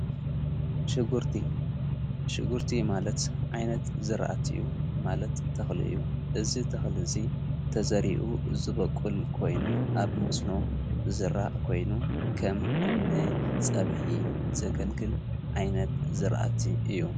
ሽጉርቲ ማለት ዓይነት ዝርኣት እዩ ማለት ተኽልእዩ እዝ ተኽሊ እዙይ ተዘሪኡ ዝበቁል ኮይኑ ኣብ መስኖ ዘራእ ኮይኑ ከም ን ጸብኂ ዘገልግል ዓይነት ዝርኣቲ እዩ።